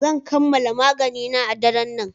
Zan kammala maganina a daren nan.